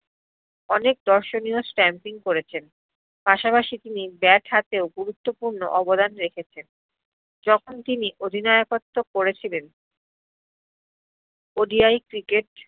অনেক দর্শনীয় stamping করেছেন পাসাপাসি তিনি bat হাতেও গুরুত্বপুর্ণ অবদান রেখেছেন যখ্ন তিনি অধিনায়্কত্র করেছিলেন ODIcricket